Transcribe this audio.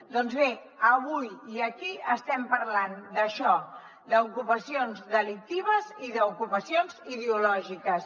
doncs bé avui i aquí estem parlant d’això d’ocupacions delictives i d’ocupacions ideològiques